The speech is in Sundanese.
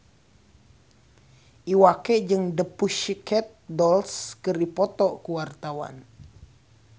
Iwa K jeung The Pussycat Dolls keur dipoto ku wartawan